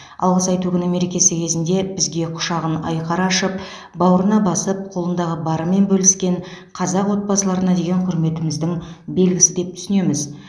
алғыс айту күні мерекесі кезінде бізге құшағын айқара ашып бауырына басып қолындағы барымен бөліскен қазақ отбасыларына деген құрметіміздің белгісі деп түсінеміз